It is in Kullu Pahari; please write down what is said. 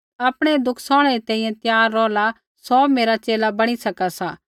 आपणै दुख सौहणै री तैंईंयैं त्यार रौहला सौ मेरा च़ेला बणी सका सा